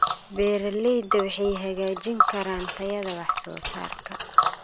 beeralayda waxay hagaajin karaan tayada wax soo saarka.